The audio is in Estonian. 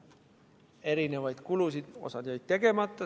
Osa jäi tegemata.